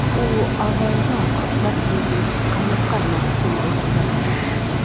U avvalroq bir yillik qamoqqa mahkum etilgan edi.